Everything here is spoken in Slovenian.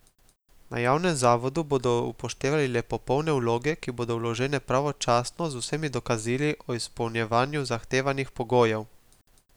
Na javnem zavodu bodo upoštevali le popolne vloge, ki bodo vložene pravočasno, z vsemi dokazili o izpolnjevanju zahtevanih pogojev.